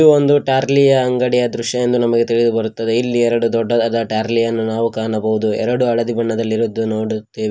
ಒಂದು ಟಾರ್ಲಿಯ ಅಂಗಡಿಯ ದೃಶ್ಯ ಎಂದು ನಮಗೆ ತಿಳಿದು ಬರುತ್ತದೆ ಇಲ್ಲಿ ಎರಡು ದೊಡ್ಡದಾದ ಟಾರ್ಲಿಯನ್ನು ನಾವು ಕಾಣಬಹುದು ಎರಡು ಹಳದಿ ಬಣ್ಣದಲ್ಲಿ ಇರುದು ನೋಡುತ್ತಿವಿ.